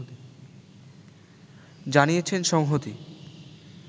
জানিয়েছেন সংহতি